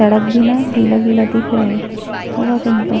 सड़क भी न गिला- गिला दिख रहा है होगा कहीं का --